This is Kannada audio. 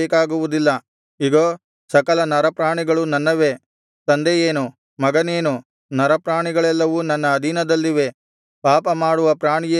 ಇಗೋ ಸಕಲ ನರಪ್ರಾಣಿಗಳು ನನ್ನವೇ ತಂದೆಯೇನು ಮಗನೇನು ನರಪ್ರಾಣಿಗಳೆಲ್ಲವೂ ನನ್ನ ಅಧೀನದಲ್ಲಿವೆ ಪಾಪಮಾಡುವ ಪ್ರಾಣಿಯೇ ಸಾಯುವನು